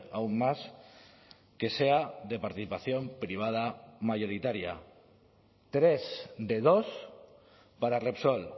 aun más que sea de participación privada mayoritaria tres de dos para repsol